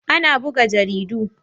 Ana buga jaridu.